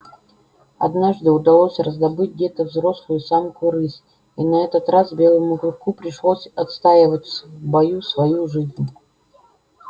однажды удалось раздобыть где-то взрослую самку рысь и на этот раз белому клыку пришлось отстаивать в бою свою жизнь